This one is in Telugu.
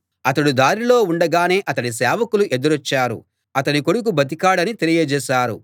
అతడు దారిలో ఉండగానే అతడి సేవకులు ఎదురొచ్చారు అతని కొడుకు బతికాడని తెలియజేశారు